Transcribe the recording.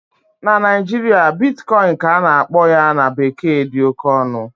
na Naijiria, Bitcoin ka a na-akpọ ya na bekee dị oke ọnụ